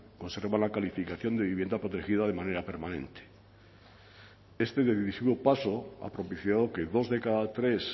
conservan la calificación de vivienda protegida de manera permanente este decisivo paso ha propiciado que dos de cada tres